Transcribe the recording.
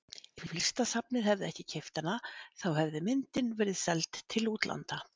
Ef Listasafnið hefði ekki keypt hana þá hefði myndin verið seld til útlanda.